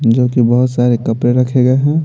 जो कि बहुत सारे कपड़े रखे गए हैं।